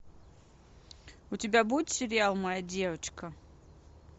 у тебя будет сериал моя девочка